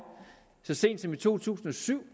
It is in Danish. så sent som i to tusind og syv